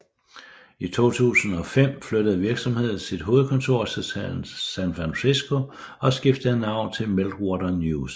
I 2005 flyttede virksomheden sit hovedkontor til San Francisco og skiftede navn til Meltwater News